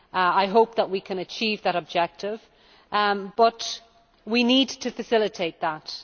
I hope we can achieve that objective, but we need to facilitate that.